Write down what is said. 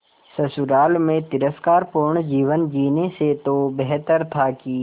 ससुराल में तिरस्कार पूर्ण जीवन जीने से तो बेहतर था कि